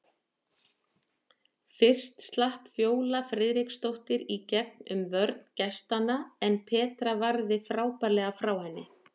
Fyrst slapp Fjóla Friðriksdóttir í gegn um vörn gestanna en Petra varði frábærlega frá henni.